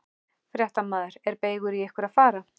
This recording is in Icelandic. Fréttamaður: Er beygur í ykkur að fara?